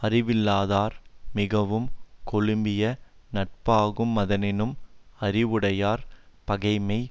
அறிவில்லாதார் மிகவும் கெழுமிய நட்பாகு மதனினும் அறிவுடையார் பகைமை